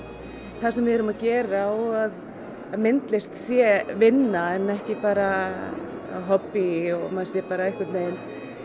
það sem við erum að gera og að myndlist sé vinna en ekki bara hobbí og maður sé bara einhvern veginn